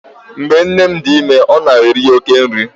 Mgbe nne m dị ime, ọ na-eri oké nri.